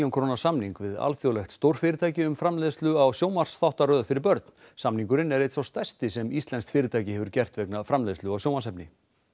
króna samning við alþjóðlegt stórfyrirtæki um framleiðslu á sjónvarpsþáttaröð fyrir börn samningurinn er einn sá stærsti sem íslenskt fyrirtæki hefur gert vegna framleiðslu á sjónvarpsefni